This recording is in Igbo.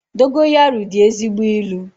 Dogoyaru dị ezigbo ị́lu